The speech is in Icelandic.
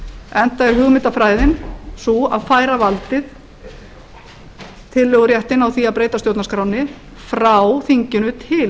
enda er hugmyndafræðin sú að færa valdið tillöguréttinn á því að breyta stjórnarskránni frá þinginu til